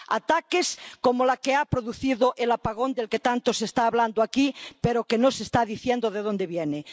Ataques como el que ha producido el apagón del que tanto se está hablando aquí, pero que no se está diciendo de dónde viene.